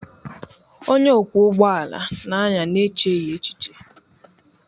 Onye ọkwọ ụgbọ ala na-anya n'echeghị echiche.